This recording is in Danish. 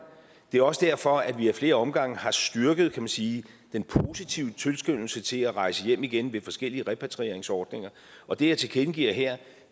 det er også derfor at vi ad flere omgange har styrket kan man sige den positive tilskyndelse til at rejse hjem igen ved forskellige repatrieringsordninger og det jeg tilkendegiver her